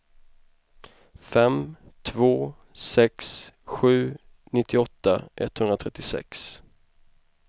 fem två sex sju nittioåtta etthundratrettiosex